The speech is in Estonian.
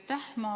Aitäh!